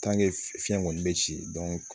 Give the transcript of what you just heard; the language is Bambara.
fiɲɛ kɔni bɛ ci